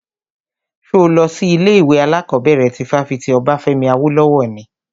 Ṣo lọ sí ilé ìwé alákọ̀bẹ̀rẹ̀ ti fáfitì Obafemi Awolowo ni?